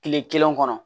Kile kelen kɔnɔ